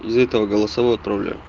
из этого голосовое отправляю